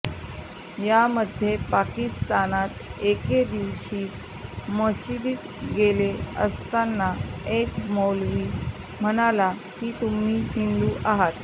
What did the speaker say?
यामध्ये पाकिस्तानात एकेदिवशी मशिदीत गेले असताना एक मौलवी म्हणाला की तुम्ही हिंदू आहात